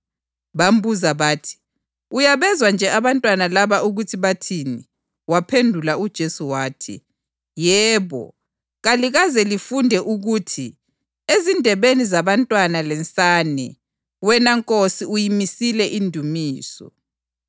Bambuza bathi, “Uyabezwa nje abantwana laba ukuthi bathini?” + 21.16 AmaHubo 8.2 Waphendula uJesu wathi, “Yebo, kalikaze lifunde ukuthi, ‘Ezindebeni zabantwana lensane wena Nkosi uyimisile indumiso’?”